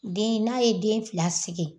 Den n'a ye den fila sigi